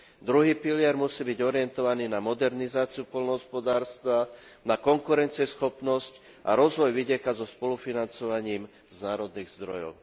Druhý pilier musí byť orientovaný na modernizáciu poľnohospodárstva, na konkurencieschopnosť a rozvoj vidieka so spolufinancovaním z národných zdrojov.